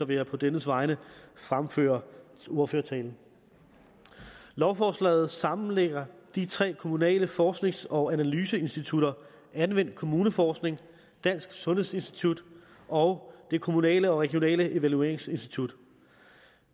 vil jeg på dennes vegne fremføre ordførertalen lovforslaget sammenlægger de tre kommunale forsknings og analyseinstitutter anvendt kommunalforskning dansk sundhedsinstitut og det kommunale og regionale evalueringsinstitut